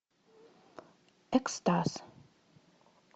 экстаз